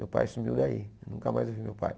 Meu pai sumiu daí, nunca mais eu vi meu pai.